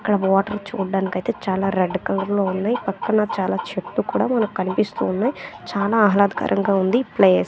ఇక్కడ వాటర్ చూడ్డానికైతే చాలా రెడ్ కలర్లో ఉన్నయ్ పక్కన చాలా చెట్లు కూడా మనకి కనిపిస్తూ ఉన్నయ్ చాలా ఆహ్లాదకరంగా ఉంది ప్లేస్ .